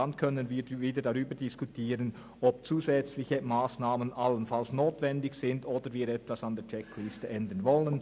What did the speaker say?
Dann können wir wieder darüber diskutieren, ob zusätzliche Massnahmen allenfalls notwendig sind oder ob wir etwas an der Checkliste ändern wollen.